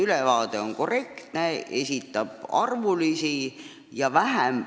Ülevaade on korrektne ja esitab hulgaliselt arvandmeid.